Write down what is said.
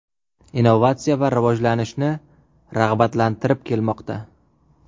Innovatsiya va rivojlanishni rag‘batlantirib kelmoqda.